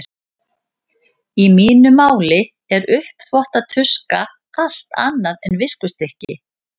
Í mínu máli er uppþvottatuska allt annað en viskustykki.